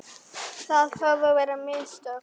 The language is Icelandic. Það höfðu verið mikil mistök.